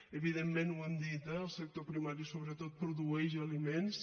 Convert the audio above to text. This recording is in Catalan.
evidentment ho hem dit eh el sector primari produeix sobretot aliments